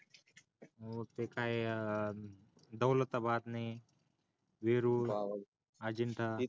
हो ते काय अं दौलता बाद नाय वेरूळ अंजिठा